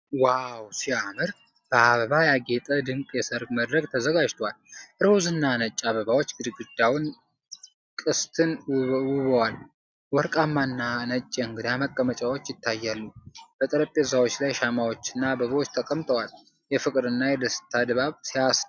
ዋው ሲያምር! በአበቦች ያጌጠ ድንቅ የሰርግ መድረክ ተዘጋጅቷል። ሮዝ እና ነጭ አበባዎች ግድግዳውንና ቅስትን ውበዋል። ወርቃማ እና ነጭ የእንግዳ መቀመጫዎች ይታያሉ። በጠረጴዛዎች ላይ ሻማዎችና አበቦች ተቀምጠዋል፣ የፍቅርና ደስታ ድባብ! ሲያስደስት!